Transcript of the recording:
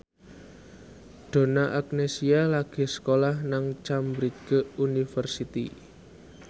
Donna Agnesia lagi sekolah nang Cambridge University